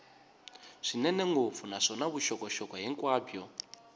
swinene ngopfu naswona vuxokoxoko hinkwabyo